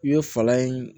I bɛ fala in